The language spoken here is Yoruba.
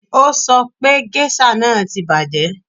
O sọ pé géṣà náà ti bàjẹ́